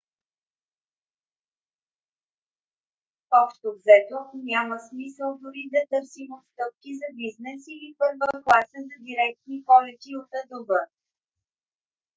общо взето няма смисъл дори да търсим отстъпки за бизнес или първа класа за директни полети от а до б